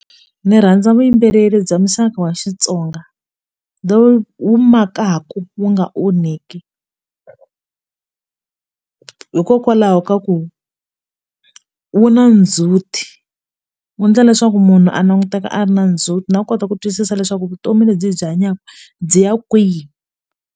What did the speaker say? Ndzi rhandza vuyimbeleri bya muxaka wa Xitsonga lowu wu makaku wu nga onheki hikokwalaho ka ku wu na ndzhuti wu endla leswaku munhu a languteka a ri na ndzhuti na ku kota ku twisisa leswaku vutomi lebyi hi byi hanyaka byi ya kwihi.